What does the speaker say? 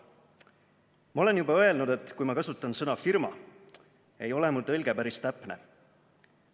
"Ma olen juba öelnud, et kui ma kasutan sõna "firma", ei ole mul tõlge päris täpne.